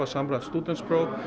samræmt stúdentspróf